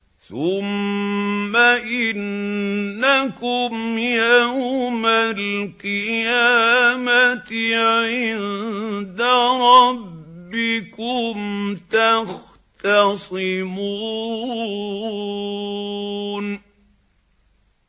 ثُمَّ إِنَّكُمْ يَوْمَ الْقِيَامَةِ عِندَ رَبِّكُمْ تَخْتَصِمُونَ